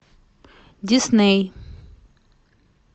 дисней